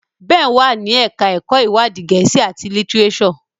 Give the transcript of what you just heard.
Ben wá ní ẹka ẹkọ iwadi Gèésì at litireso.